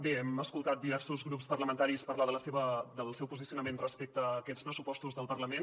bé hem escoltat diversos grups parlamentaris parlar del seu posicionament respecte a aquests pressupostos del parlament